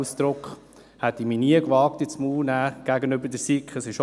Ich hätte mich nie gewagt, diesen Ausdruck gegenüber der SiK in den Mund zu nehmen.